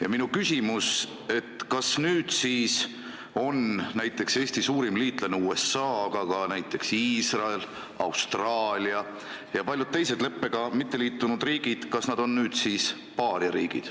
Ja minu küsimus on, et kas Eesti suurim liitlane USA, aga ka näiteks Iisrael, Austraalia ja paljud teised leppega mitte liitunud riigid on nüüd siis paariariigid.